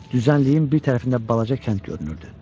Düzənliyin bir tərəfində balaca kənd görünürdü.